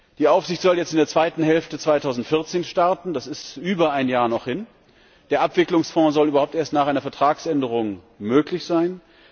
Die Aufsicht soll jetzt in der zweiten Hälfte 2014 starten das ist noch über ein Jahr hin der Abwicklungsfonds soll überhaupt erst nach einer Vertragsänderung möglich sein.